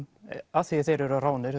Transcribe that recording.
af því þeir eru ráðnir